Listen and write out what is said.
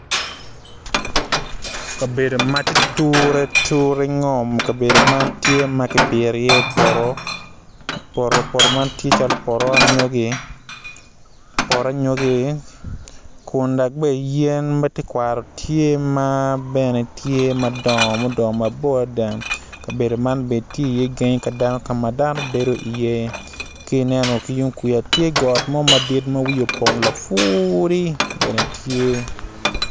Kabedo ma ti ture ngom kabedo man ti ma kibiti iye poto poto man ti anyogi poto anyogi kun be dok yen me tekwaro tye ma bene tye madongo mudongo mabor adida kabedo man be ti iye gangi ka dano ka ma dano bedi iye ki ineno ki yung kuja ti got mo madit ma wiye opong lufuri bene tye